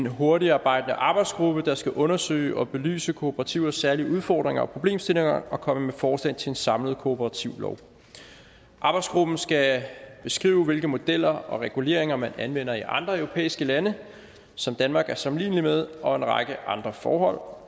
hurtigtarbejdende arbejdsgruppe der skal undersøge og belyse kooperativers særlige udfordringer og problemstillinger og komme med forslag til en samlet kooperativlov arbejdsgruppen skal beskrive hvilke modeller og reguleringer man anvender i andre europæiske lande som danmark er sammenlignelig med og en række andre forhold